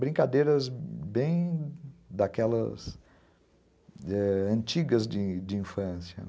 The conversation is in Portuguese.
Brincadeiras bem daquelas antigas de infância.